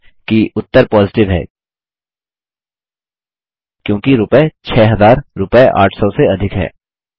ध्यान दें कि उत्तर पॉजिटिव है क्योंकि रूपये 6000 रूपये 800 से अधिक हैं